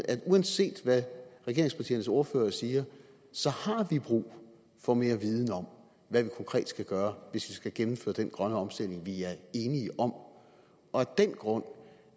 at uanset hvad regeringspartiernes ordfører siger har vi brug for mere viden om hvad vi konkret skal gøre hvis vi skal gennemføre den grønne omstilling vi er enige om af den grund